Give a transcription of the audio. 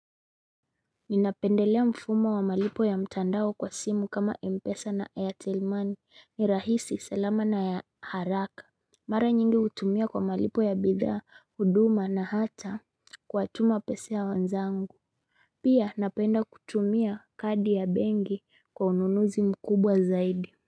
Ninapendelea mfumo wa malipo ya mtandao kwa simu kama Mpesa na airtelmoney ni rahisi salama na ya haraka Mara nyingi hutumia kwa malipo ya bidhaa huduma na hata kuwatuma pesa ya wenzangu Pia napenda kutumia kadi ya benki kwa ununuzi mkubwa zaidi.